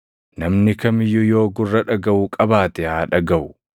Namni kam iyyuu yoo gurra dhagaʼu qabaate haa dhagaʼu.”